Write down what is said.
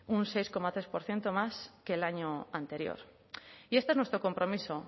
un seis coma tres por ciento más que el año anterior y este es nuestro compromiso